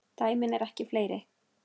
Dæmin eru fleiri.